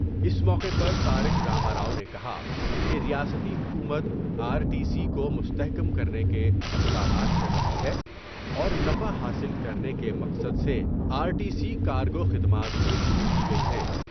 اس موقع پر تارک را مارا ؤ نے کہا کہ ریاستی حکومت آ رٹی سی کومستحکم کرنے کے اقدامات کر رہی ہے اور نفع حاصل کرنے کے مقصد سے آرٹی سی کارگو خدمات بھی شروع کی گئی ہیں ۔